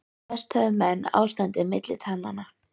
Mest höfðu menn ástandið milli tannanna.